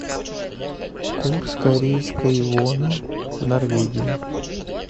курс корейской воны в норвегии